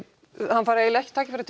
hann fær eiginlega ekki tækifæri